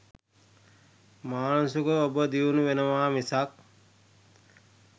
මානසිකව ඔබ දියුණු වෙනවා මිසක්